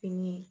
Fini